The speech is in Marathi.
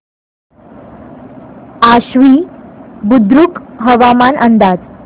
आश्वी बुद्रुक हवामान अंदाज